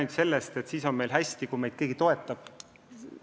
Ei saa rääkida, et siis on meil kõik hästi, kui meid keegi toetab.